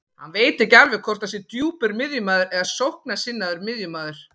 Hann veit ekki alveg hvort hann sé djúpur miðjumaður eða sóknarsinnaður miðjumaður.